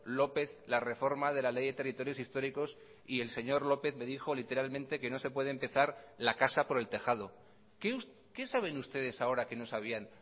lópez la reforma de la ley de territorios históricos y el señor lópez me dijo literalmente que no se puede empezar la casa por el tejado qué saben ustedes ahora que no sabían